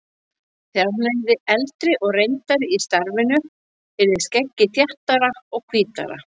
Þegar hann yrði eldri og reyndari í starfinu yrði skeggið þéttara og hvítara.